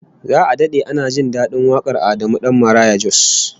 Za'a dade ana jin dadin wakar Adamu Dan Maraya Jos